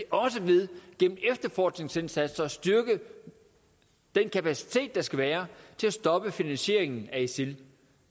også ved gennem efterforskningsindsatser at styrke den kapacitet der skal være til at stoppe finansieringen af isil